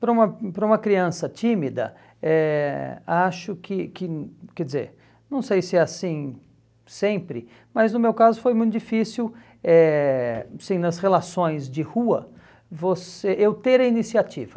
Para uma para um criança tímida eh, acho que que, quer dizer, não sei se é assim sempre, mas no meu caso foi muito difícil eh assim nas relações de rua você eu ter a iniciativa.